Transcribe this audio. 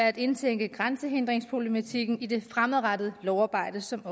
at indtænke grænsehindringsproblematikken i det fremadrettede lovarbejde som